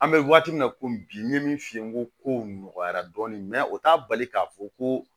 An bɛ waati min na komi bi n ye min f'i ye n ko kow nɔgɔyara dɔɔni o t'a bali k'a fɔ ko